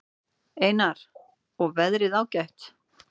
Einar: Og veðrið ágætt?